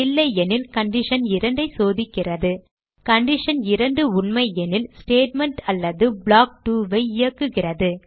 இல்லையெனில் கண்டிஷன் 2 ஐ சோதிக்கிறது கண்டிஷன் 2 உண்மையெனில் ஸ்டேட்மெண்ட் அல்லது ப்ளாக் 2 ஐ இயக்குகிறது